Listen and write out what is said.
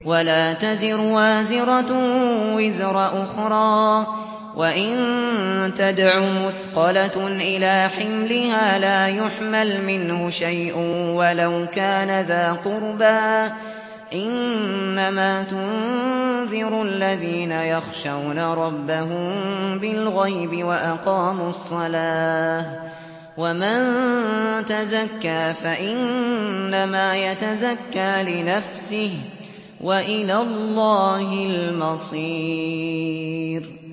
وَلَا تَزِرُ وَازِرَةٌ وِزْرَ أُخْرَىٰ ۚ وَإِن تَدْعُ مُثْقَلَةٌ إِلَىٰ حِمْلِهَا لَا يُحْمَلْ مِنْهُ شَيْءٌ وَلَوْ كَانَ ذَا قُرْبَىٰ ۗ إِنَّمَا تُنذِرُ الَّذِينَ يَخْشَوْنَ رَبَّهُم بِالْغَيْبِ وَأَقَامُوا الصَّلَاةَ ۚ وَمَن تَزَكَّىٰ فَإِنَّمَا يَتَزَكَّىٰ لِنَفْسِهِ ۚ وَإِلَى اللَّهِ الْمَصِيرُ